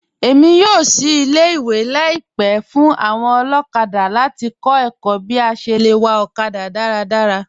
Èmi yóò ṣìí ilẹ̀-ìwé laípẹ̀ fún awọn olokada láti kọ̀ ẹ̀kọ̀ bí à ṣé lẹ wà okada daradara.